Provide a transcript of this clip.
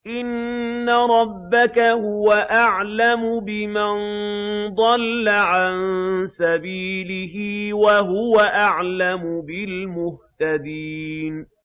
إِنَّ رَبَّكَ هُوَ أَعْلَمُ بِمَن ضَلَّ عَن سَبِيلِهِ وَهُوَ أَعْلَمُ بِالْمُهْتَدِينَ